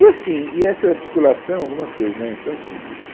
E assim e essa articulação, algumas coisas né então assim